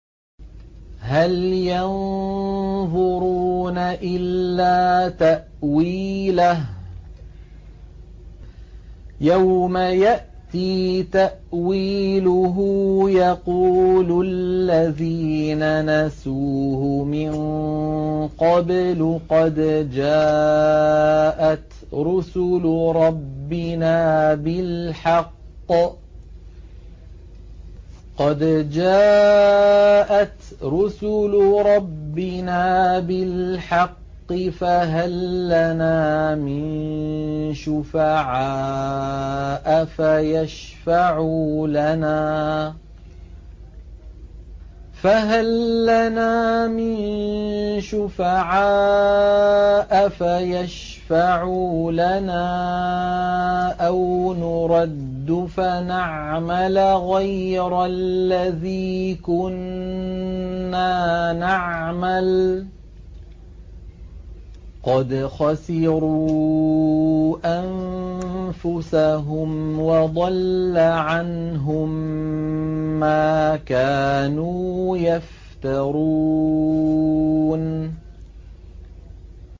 هَلْ يَنظُرُونَ إِلَّا تَأْوِيلَهُ ۚ يَوْمَ يَأْتِي تَأْوِيلُهُ يَقُولُ الَّذِينَ نَسُوهُ مِن قَبْلُ قَدْ جَاءَتْ رُسُلُ رَبِّنَا بِالْحَقِّ فَهَل لَّنَا مِن شُفَعَاءَ فَيَشْفَعُوا لَنَا أَوْ نُرَدُّ فَنَعْمَلَ غَيْرَ الَّذِي كُنَّا نَعْمَلُ ۚ قَدْ خَسِرُوا أَنفُسَهُمْ وَضَلَّ عَنْهُم مَّا كَانُوا يَفْتَرُونَ